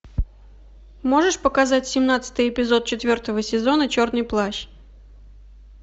можешь показать семнадцатый эпизод четвертого сезона черный плащ